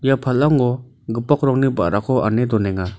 ia palango gipok rongni ba·rako ane don·enga.